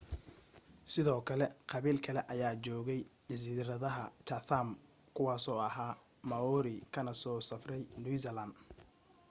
sidoo kale qabiil kale ayaa joogay jasiiradaha chatham kuwaasoo ahaa maori kana soo safray new zealand